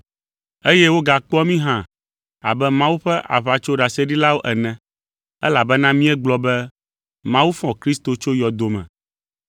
eye wogakpɔa mí hã abe Mawu ƒe aʋatsoɖaseɖilawo ene, elabena míegblɔ be Mawu fɔ Kristo tso yɔdo me.